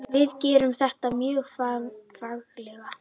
Við gerðum þetta mjög fagmannlega.